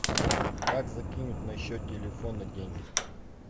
как закинуть на счет телефона деньги